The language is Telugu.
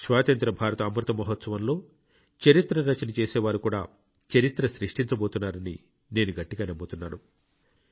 స్వాతంత్ర్య భారత అమృతమహోత్సవంలో చరిత్ర రచన చేసే వారు కూడా చరిత్ర సృష్టించబోతున్నారని నేను గట్టిగా నమ్ముతున్నాను